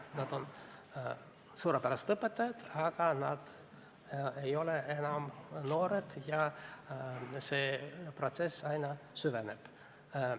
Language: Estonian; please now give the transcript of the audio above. Meil on suurepärased õpetajad, aga nad ei ole enam noored, ja õpetajaskonna vananemise protsess aina süveneb.